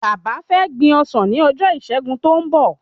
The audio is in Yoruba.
Bàbá fé gbin ọsàn ni ojo ìṣẹgun tó n bọ